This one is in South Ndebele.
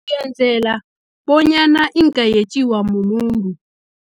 Ngenzela, bonyana ingayetjiwa mumuntu.